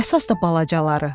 Əsas da balacaları.